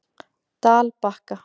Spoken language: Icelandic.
Dalbakka